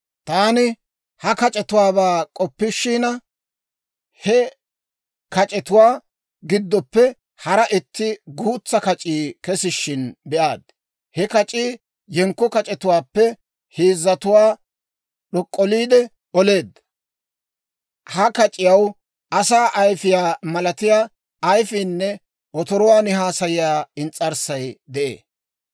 Taani ha kac'etuwaabaa k'oppishina, he kac'etuwaa giddoppe hara itti guutsaa kac'ii kesishshin be'aad; he kac'ii yenkko kac'etuwaappe heezzatuwaa d'ok'k'oliide oleedda. Ha kac'iyaw asaa ayfiyaa malatiyaa ayifiinne otoruwaan haasayiyaa ins's'arssay de'ee.